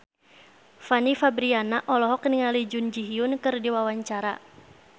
Fanny Fabriana olohok ningali Jun Ji Hyun keur diwawancara